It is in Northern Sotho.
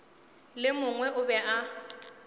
le mongwe o be a